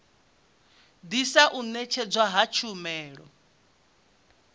ḓisa u ṅetshedzwa ha tshumelo